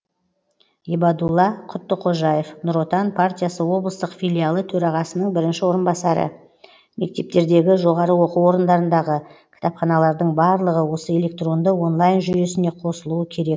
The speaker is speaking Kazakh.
ибадулла құттықожаев нұр отан партиясы облыстық филиалы төрағасының бірінші орынбасары мектептердегі жоғарғы оқу орындарындағы кітапханалардың барлығы осы электронды онлайн жүйесіне қосылуы керек